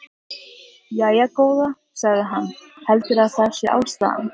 Jæja, góða, sagði hann, heldurðu að það sé ástæðan?